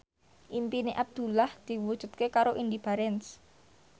impine Abdullah diwujudke karo Indy Barens